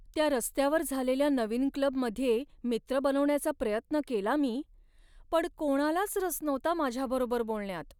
त्या रस्त्यावर झालेल्या नवीन क्लबमध्ये मित्र बनवण्याचा प्रयत्न केला मी, पण कोणालाच रस नव्हता माझ्याबरोबर बोलण्यात.